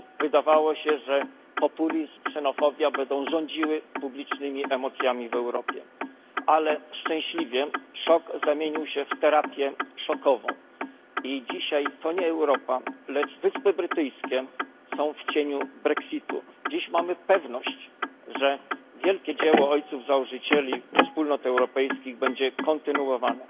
Wydawało się, że populizm, ksenofobia będą rządziły publicznymi emocjami w Europie. Ale szczęśliwie szok zamienił się w terapię szokową i dzisiaj to nie Europa, lecz Wyspy Brytyjskie są w cieniu brexitu. Dziś mamy pewność, że wielkie dzieło ojców założycieli Wspólnot Europejskich będzie kontynuowane.